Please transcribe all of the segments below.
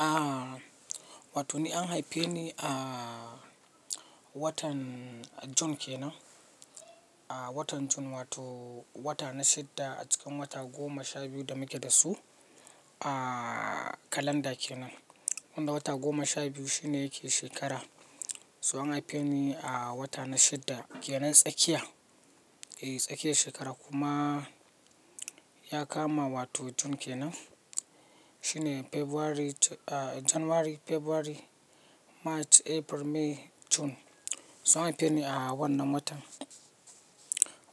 Ah, wato ni an haife ni a watan June kenan. A watan June wato wata na shidda a cikin wata goma sha biyu da muke da su a kalanda kenan. Wanda wata goma sha biyu shine yake shekara. So an haife ni a wata na shidda kenan tsakiya. E, tsakiya shekara kuma ya kama wato June kenan. Shine February, January, February, March, April, May, June. So an haife ni a wannan watan.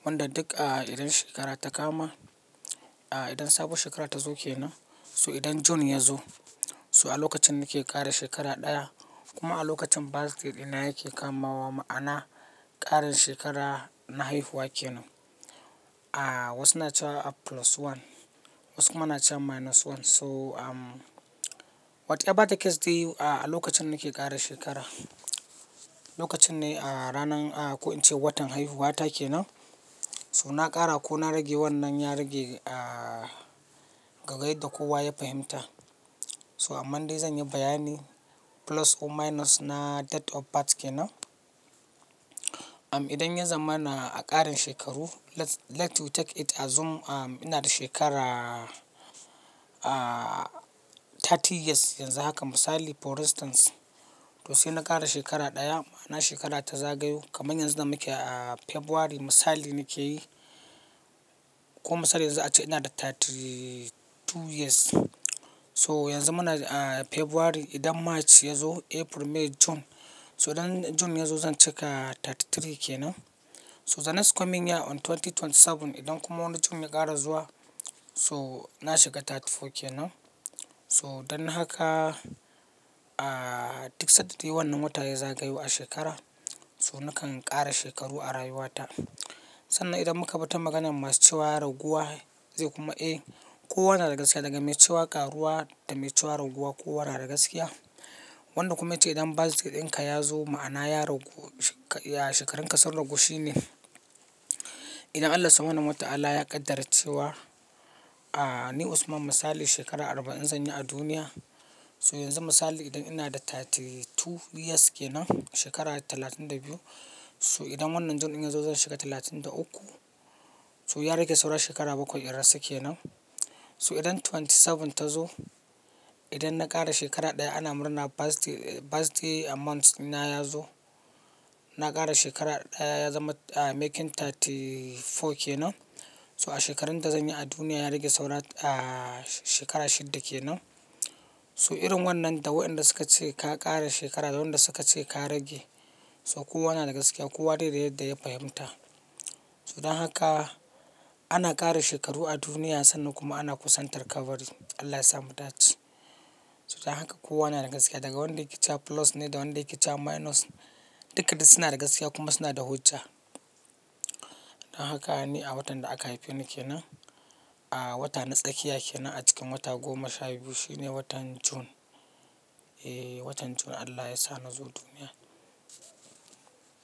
Wanda duka idan shekara ta kama, a idan sabuwar shekara ta zo kenan. So idan June ya zo, so a lokacin nake ƙara shekara ɗaya kuma a lokacin birthday ɗina yake kamawa ma'ana ƙarin shekara na haihuwa kenan. A wasu na cewa a plus one, wasu kuma na cewa minus one. So, um, whatever the case dai a lokacin nake ƙara shekara, lokacin ne a ranar, a ko in ce watan haihuwata kenan. To na ƙara ko na rage wannan ya rage, ah, ga gaida kowa ya fahimta. So amma dai zan yi bayani plus or minus na date of birth kenan. Um, idan ya zamana a ƙarin shekaru, let, let we take it assume, ina da shekara, ah, thirty years yanzu haka misali for instance. To sai na ƙara shekara ɗaya ma'ana shekara ta zagayu kamar yanzu da muke a February misali nake yi. Ko misali yanzu a ce ina da thirty two years. So yanzu muna a February idan March ya zo April, May, June. So idan June ya zo zan cika thirty three kenan. To the next coming year on 2027 idan kuma wannan June ya ƙara zuwa so na shiga thirty four kenan. So don haka, ah, duk sadda dai wannan wata ya zagayu a shekara so nakan ƙara shekaru a rayuwata. Sannan idan muka bi ta maganan masu cewa ya raguwa zai kuma, eh, ko wannan daga gaskiya daga mai cewa ƙaruwa da mai cewa raguwa ko wa na daga gaskiya. Wanda kuma ya ce idan birthday ɗinka ya zo ma'ana ya ragu, ya shekarunka sun ragu shine. Idan Allah sa mana mata Allah ya ƙaddar cewa, ah, ni Usman misali shekara arba'in zan yi a duniya. To yanzu misali idan ina da thirty two years kenan shekara talatin da biyu. To idan wannan June ya zo zan shiga talatin da uku. So ya rage saura shekara bakwai in rasu kenan. To idan twenty seven ta zo, idan na ƙara shekara ɗaya ana murna birthday, birthday amount na ya zo. Na ƙara shekara ɗaya ya zama making thirty four kenan. To a shekarun da zan yi a duniya ya rage saura, ah, shekara shidda kenan. So irin wannan da waɗanda suka ce ka ƙara shekara da waɗanda suka ce ka rage. To kowa yana daga gaskiya, kowa dai da yadda ya fahimta. To don haka ana ƙara shekaru a duniya sannan kuma ana kusantar kabari. Allah ya sa mu daci. To don haka kowa yana daga gaskiya daga wanda yake cewa plus ne da wanda yake cewa minus. Duka da suna daga gaskiya kuma suna da hujja. Don haka ni a watan da aka haife ni kenan, a wata na tsakiya kenan a cikin wata goma sha biyu shine watan June. E, watan June Allah ya sa na zo duniya.